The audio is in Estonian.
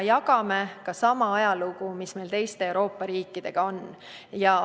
Me jagame teiste Euroopa riikidega sama ajalugu.